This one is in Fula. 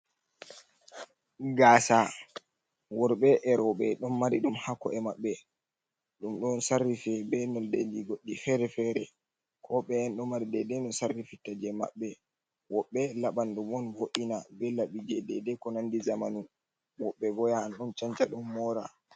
Gaasa, worbe erobe don mari dum hako e maɓbe, dum don sarrife be noldeji goddi fere-fere, ko be'ye'en do mari dede no sarrifitta je maɓbe, woɓbe labandum on vo’ina be labi je dede ko nandi zamanu, wobbe bo ya an don chanca don mora.